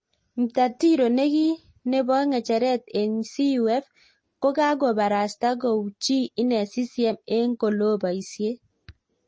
Mtatiro neki nepongecheret eng CUF kokaparastaa kouchii inee CCM eng koloo paisiet